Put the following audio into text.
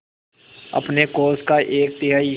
अपने कोष का एक तिहाई